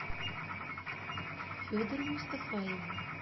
федору мустафаеву